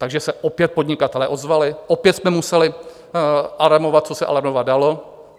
Takže se opět podnikatelé ozvali, opět jsme museli alarmovat, co se alarmovat dalo.